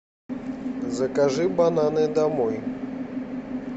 закажи бананы домой